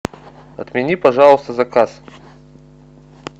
отмени пожалуйста заказ